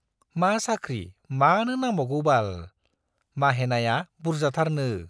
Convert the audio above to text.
मा साख्रि मानो नांबावगौबाल, माहेनाया बुर्जाथारनो।